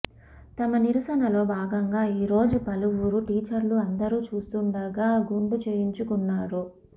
తమ నిరసనలో భాగంగా ఈ రోజు పలువురు టీచర్లు అందరూ చూస్తుండగా గుండు చేయించుకున్నారు